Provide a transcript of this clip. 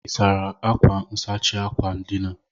Ị́ sara akwa nsachi akwa ndina?